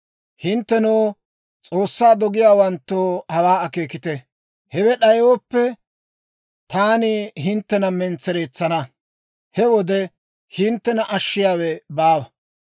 «Hinttenoo, S'oossaa dogiyaawanttoo, hawaa akeekite. Hewe d'ayooppe, taani hinttena mentsereetsana; he wode hinttena ashshiyaawe baawa.